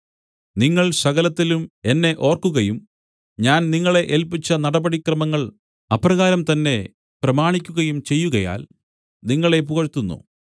നിങ്ങൾ സകലത്തിലും എന്നെ ഓർക്കുകയും ഞാൻ നിങ്ങളെ ഏല്പിച്ച നടപടിക്രമങ്ങൾ അപ്രകാരം തന്നെ പ്രമാണിക്കുകയും ചെയ്യുകയാൽ നിങ്ങളെ പുകഴ്ത്തുന്നു